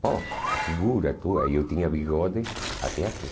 Pô, a figura tua, eu tinha bigode até aqui.